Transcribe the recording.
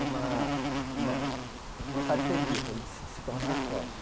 uma uma uma parceria, para ele se se tornar sócio.